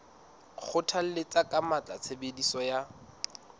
kgothalletsa ka matla tshebediso ya